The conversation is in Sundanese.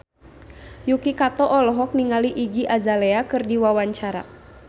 Yuki Kato olohok ningali Iggy Azalea keur diwawancara